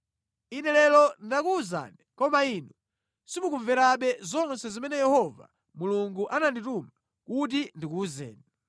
Ine lero ndakuwuzani, koma inu simukumverabe zonse zimene Yehova Mulungu anandituma kuti ndikuwuzeni.